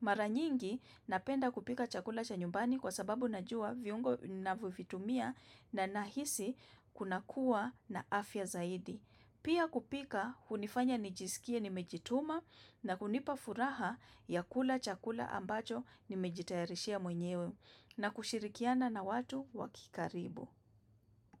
Mara nyingi, napenda kupika chakula cha nyumbani kwa sababu najua viungo navyovitumia na nahisi kunakuwa na afya zaidi. Pia kupika, hunifanya nijisikie nimejituma na hunipa furaha ya kula chakula ambacho nimejitayarishia mwenyewe na kushirikiana na watu wa kikaribu.